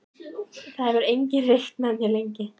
Það hefur enginn reykt með mér lengi.